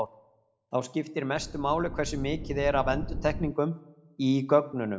þá skiptir mestu máli hversu mikið er af endurtekningum í gögnunum